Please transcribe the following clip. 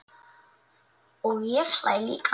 Og ég hlæ líka.